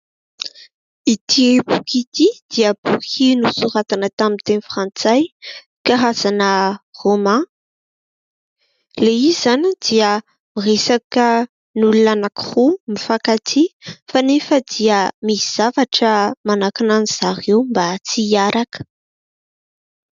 Ity boky ity dia boky nosoratana tamin'ny teny frantsay, karazana « romain ». Ilay izy izany dia miresaka olona anakiroa mifankatia, kanefa dia misy zavatra manakana azy ireo mba tsy hiaraka.